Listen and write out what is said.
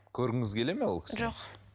көргіңіз келеді ме ол кісіні жоқ